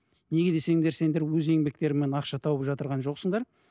неге десеңдер сендер өз еңбектеріңмен ақша тауып жоқсыңдар